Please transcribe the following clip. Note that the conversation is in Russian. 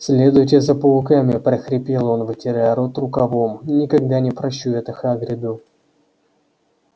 следуйте за пауками прохрипел он вытирая рот рукавом никогда не прощу это хагриду